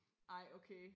ej okay